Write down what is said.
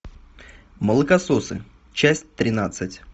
молокососы часть тринадцать